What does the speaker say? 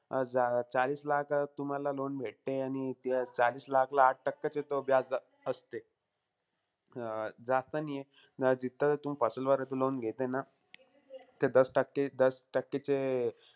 अं चाळीस लाख तुम्हाला loan भेटतेयं आणि चाळीस लाखला आठ टक्केचं तो व्याजदर असते. अं जास्त नाहीये. जिथं तुम्ही वर loan घेतेय ना, ते दस टक्के दस टक्केचे,